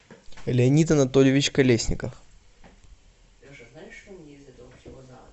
леонид анатольевич колесников